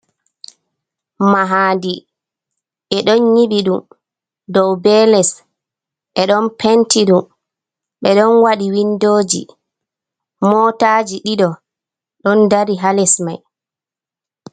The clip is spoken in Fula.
Mahadi ɓe ɗon nyibi ɗum dow be les, ɓe ɗon penti ɗum ɓe ɗon waɗi windoji, motaji ɗiɗo ɗon dari ha les mai.